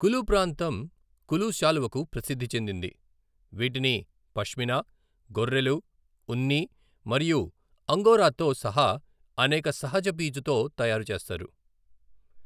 కులు ప్రాంతం కులు శాలువకు ప్రసిద్ధి చెందింది, వీటిని పష్మినా, గొర్రెలు ఉన్ని మరియు అంగోరాతో సహా అనేక సహజ పీచుతో తయారు చేస్తారు.